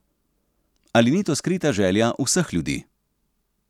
Ali ni to skrita želja vseh ljudi?